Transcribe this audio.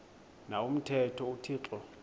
na umthetho uthixo